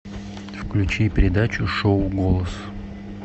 включи передачу шоу голос